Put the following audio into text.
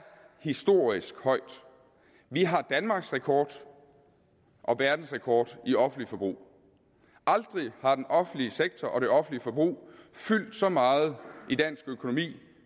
historisk højt vi har danmarksrekord og verdensrekord i offentligt forbrug aldrig har den offentlige sektor og det offentlige forbrug fyldt så meget i dansk økonomi